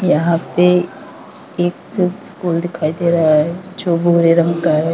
यहां पे एक स्कूल दिखाई दे रहा है जो भूरे रंग का है।